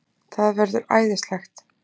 Það verður æðislegt!